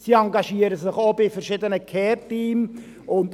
Sie engagieren sich in verschiedenen Care-Teams.